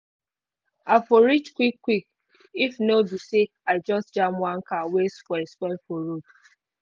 i for reach quick quick if no be say i just jam one car wey spoil spoil for road